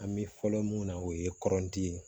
An bɛ fɔlɔ mun na o ye kɔrɔnti ye